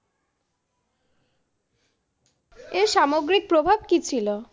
এর সামগ্রিক প্রভাব কি ছিল?